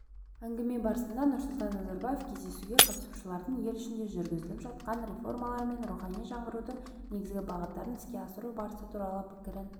әңгіме барысында нұрсұлтан назарбаев кездесуге қатысушылардың ел ішінде жүргізіліп жатқан реформалар мен рухани жаңғырудың негізгі бағыттарын іске асыру барысы туралы пікірін